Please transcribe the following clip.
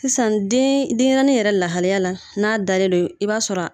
Sisan den denɲɛrɛnin yɛrɛ lahalaya la n'a dalen don i b'a sɔrɔ